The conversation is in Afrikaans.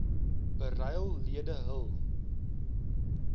beryl lede hul